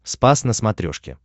спас на смотрешке